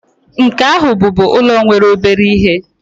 nke ahu bubu ulo nwere obere ihe